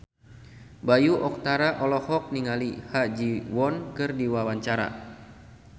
Bayu Octara olohok ningali Ha Ji Won keur diwawancara